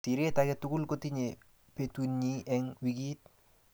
Siret age tugul kotinye betunyi eng wikit